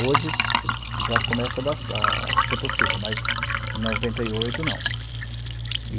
Hoje, já começa a dar cer a ser possível, mas em noventa e oito, não.